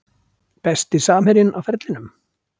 Besti samherjinn á ferlinum?